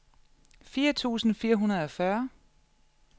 fire tusind fire hundrede og fyrre